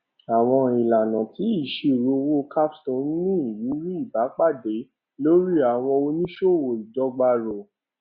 àwọn ìlànà ti ìṣirò owó capstone ní ìrírí ìpadàbọ lórí àwọn oníṣòwò ìdọgba roe